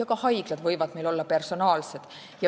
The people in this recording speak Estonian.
Ka haiglad võivad olla personaalsed.